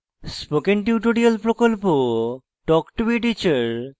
spoken tutorial প্রকল্প talk to a teacher প্রকল্পের অংশবিশেষ